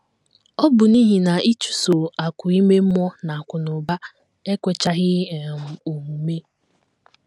Ọ bụ n’ihi na ịchụso akụ̀ ime mmụọ na akụnụba ekwechaghị um omume.